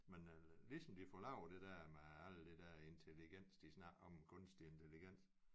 Men ligesom de får lavet det der med alle der der intelligens de snakker om kunstig intelligens